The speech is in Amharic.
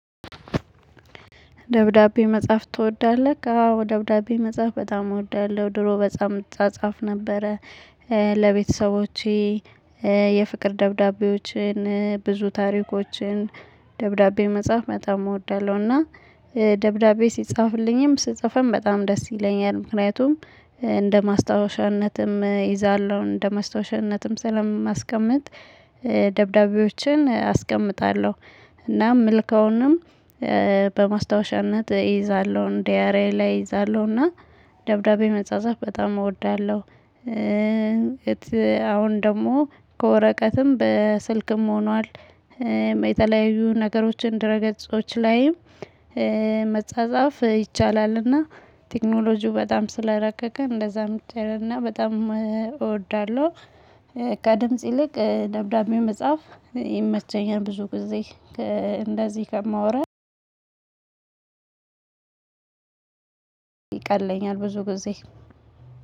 ደብዳቤ መጽሐፍ ትወዳለህ? አዎ ደብዳቤ መጽሐፍ በጣም እወዳለሁ። ድሮ በጣምት እጻጻፍ ነበረ። ለቤተሰቦቼ የፍቅር ደብዳቤዎችን ብዙ ታሪኮችን ደብዳቤ መጻፍ መጣም እወዳለሁና። ደብዳቤ ሲጻፍልኝም ስጽፍም በጣም ደስ ይለኛል። ምክንያቱም እንደ ማስታወሻነትም ይዛለሁ እንደ ማስታወሻነትም ስለማስቀምጥ። ደብዳቤዎችን አስቀምጣለሁ። እና ምልከውንም በማስታወሻነት እይዛለሁ ዲያሬ ላይ እይዛለሁ። እና ደብዳቤ መጻጻፍ በጣም እወዳለሁ። አሁን ደግሞ ከወረቀትም በስልክም ሆኗል። ነገሮችን ድረ ገጾች ላይም መጻጻፍ ይቻላል። እና ቴክኖሎጂው በጣም ስለረቀቀ እንደዛም እና በጣም እወዳለሁ። ከድምጽ ይልቅ ደብዳቤ መጽሐፍ ይመቸኛል ብዙ ጊዜ እንደዚህ ከማወራ። ይቀለኝ ብዙ ጊዜ